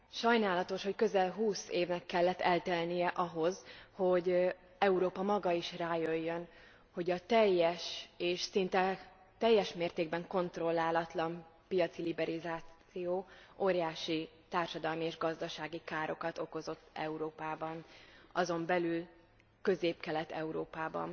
Sajnálatos, hogy közel húsz évnek kellett eltelnie ahhoz, hogy Európa maga is rájöjjön, hogy a teljes és szinte teljes mértékben kontrollálatlan piaci liberalizáció óriási társadalmi és gazdasági károkat okozott Európában, azon belül Közép Kelet Európában.